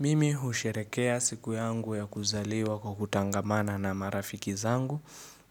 Mimi husherekea siku yangu ya kuzaliwa kwa kutangamana na marafiki zangu